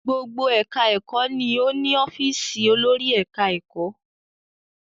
Gbogbo ẹ̀ka ẹ̀kọ́ ni ó ni ọ́fìsì olórí ẹ̀ka ẹ̀kọ́.